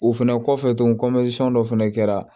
O fɛnɛ kɔfɛ tuguni dɔ fɛnɛ kɛra